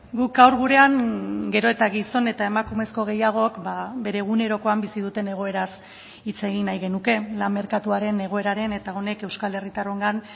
guk gaur gurean gero eta gizon eta emakumezko gehiagok bere egunerokoan bizi duten egoeraz hitz egin nahi genuke lan merkatuaren egoeraren eta honek euskal herritarrongan